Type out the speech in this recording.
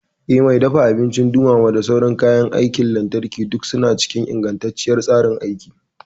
Eh, Mai dafa abinci, dumama da sauran kayan aikin lantarki duk suna cikin ingantacciyar tsarin aiki.